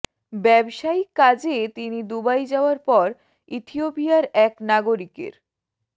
ব্যবসায়িক কাজে তিনি দুবাই যাওয়ার পর ইথিওপিয়ার এক নাগরিকের